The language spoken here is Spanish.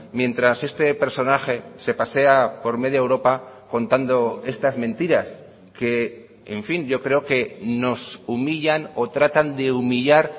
mientras este personaje se pasea por media europa contando estas mentiras que en fin yo creo que nos humillan o tratan de humillar